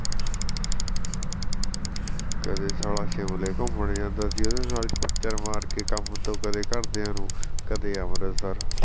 ਕਦੇ ਸਾਲਾ ਸ਼ਿਮਲੇ ਘੁੰਮਣ ਜਾਂਦਾ ਸੀ ਓਹਦੇ ਨਾਲ ਕੰਮ ਤੋਂ ਕਦੇ ਘਰਦਿਆਂ ਨੂੰ ਕਦੇ ਅੰਮ੍ਰਿਤਸਰ